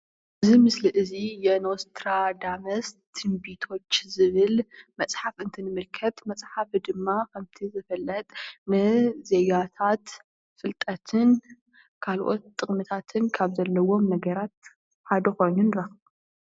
እዚ ምስሊ እዚ ዮኖስ ትራዳመስ ትንቢቶች ዝብል መፅሓፍ እንተምልከት መፅሓፍ ድማ ከምቲ ዝፍለጥ ምዘዮካት ፍልጠትን ካልኦት ጥቅምታትን ካብ ዘለዎም ነገራት ሓደ ኮይኑ ንረክቦ።